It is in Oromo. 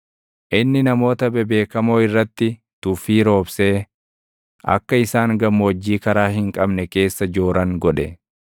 inni namoota bebeekamoo irratti tuffii roobsee akka isaan gammoojjii karaa hin qabne keessa jooran godhe.